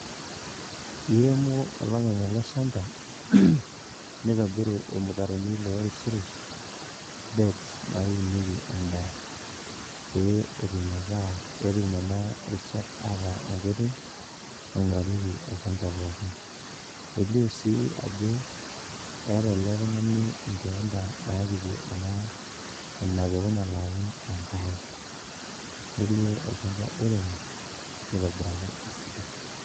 Iremo olopeny ele shamba nitobiru ilmutaroni lorishirish beds naunieki endaa pee etum ataa petum nena rishat ataa enkoitoi naing'urarieki olchamba pookin elio sii ajo eeta ele tung'ani inkeenta napikie ena enapeku nalo aun enkare nelio olchamba oiremo nitobiraki esidai.